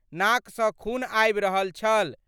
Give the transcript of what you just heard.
नाक सँ खून आबि रहल छल।